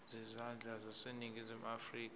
zezandla zaseningizimu afrika